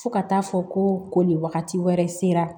Fo ka taa fɔ ko ko nin wagati wɛrɛ sera